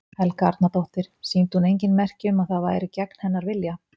Helga Arnardóttir: Sýndi hún engin merki um að þetta væri gegn hennar vilja?